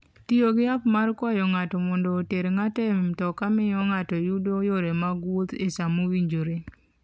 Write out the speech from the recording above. Tiyo gi app mar kwayo ng'ato mondo oter ng'ato e mtoka miyo ng'ato yudo yore mag wuoth e sa mowinjore.